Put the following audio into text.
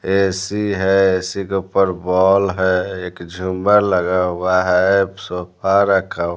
AC है AC के ऊपर बॉल है मर लगा हुआ है सोफा रखा --